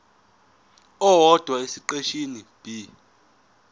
owodwa esiqeshini b